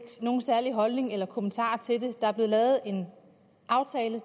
nogen særlig holdning eller kommentar til det der er blevet lavet en aftale